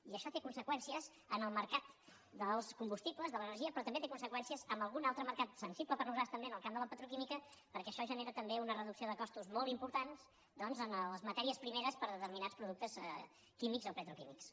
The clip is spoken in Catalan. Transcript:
i això té conseqüències en el mercat dels combustibles de l’energia però també té conseqüències en algun altre mercat sensible per nosaltres també en el camp de la petroquímica perquè això genera també una reducció de costos molt importants doncs en les matèries primeres per a determinats químics o petroquímics